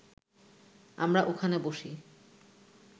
আমরা ওখানে বসি